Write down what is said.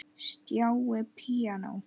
Stjáni píanó